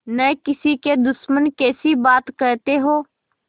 न किसी के दुश्मन कैसी बात कहते हो